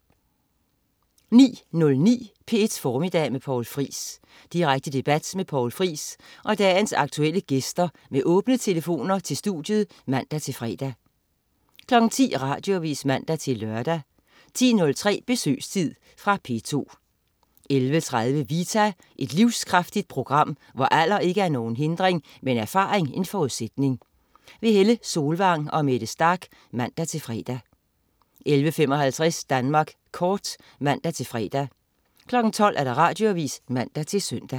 09.09 P1 Formiddag med Poul Friis. Direkte debat med Poul Friis og dagens aktuelle gæster med åbne telefoner til studiet (man-fre) 10.00 Radioavis (man-lør) 10.03 Besøgstid. Fra P2 11.30 Vita. Et livskraftigt program, hvor alder ikke er nogen hindring, men erfaring en forudsætning. Helle Solvang og Mette Starch (man-fre) 11.55 Danmark Kort (man-fre) 12.00 Radioavis (man-søn)